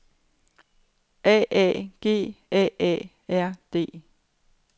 A A G A A R D